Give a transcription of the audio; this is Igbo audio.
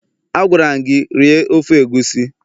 Agwara'm gi, rie ofe egusi